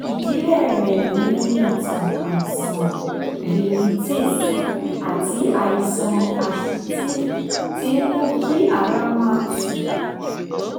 ìdílé rẹ̀ ní ìtàn àìsàn rhinitis àti àìsàn asítì tí ń mú kí ara máa tú